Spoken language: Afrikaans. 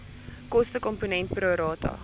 kostekomponent pro rata